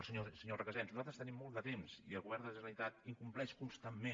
senyor recasens nosaltres tenim molt de temps i el govern de la ge·neralitat incompleix constantment